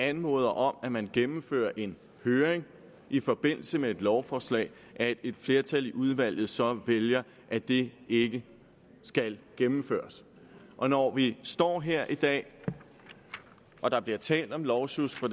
anmoder om at man gennemfører en høring i forbindelse med et lovforslag at et flertal i udvalget så vælger at det ikke skal gennemføres og når vi står her i dag og der bliver talt om lovsjusk fra